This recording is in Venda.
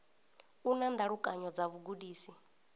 u na ndalukanyo dza vhugudisi